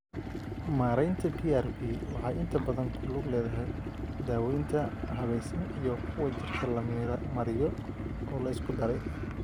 Maareynta PRP waxay inta badan ku lug leedahay daawaynta habaysan iyo kuwa jirka la mariyo oo la isku daray.